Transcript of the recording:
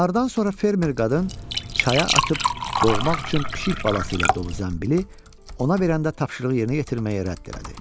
Nardan sonra fermer qadın çaya atıb boğmaq üçün pişik balası ilə dolu zəmbili ona verəndə tapşırığı yerinə yetirməyə rədd elədi.